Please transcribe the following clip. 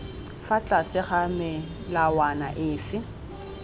fa tlase ga melawana efe